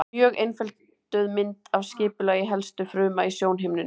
Mjög einfölduð mynd af skipulagi helstu fruma í sjónhimnunni.